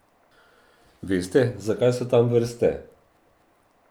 Veste, zakaj so tam vrste?